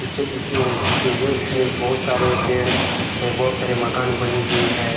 Picture दिख रही है इसमें बहुत सारे पेड़ है बहुत सारे मकान बनी हुई है ।